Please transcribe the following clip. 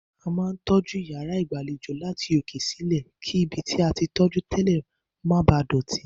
A máa ń tọ́jú yàrá ìgbàlejò láti òkè sí ilẹ̀, kí ibi tí a tí tọ́jú tẹ́lẹ̀ má bàá dọ̀tí.